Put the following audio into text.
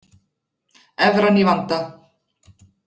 Evran í vanda